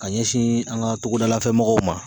Ka ɲɛsin an ga togodalafɛmɔgɔw ma